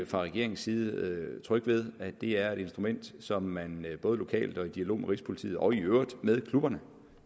fra regeringens side trygge ved at det er et instrument som man både lokalt og i dialog med rigspolitiet og i øvrigt med klubberne